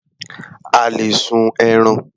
A lè sun ẹran.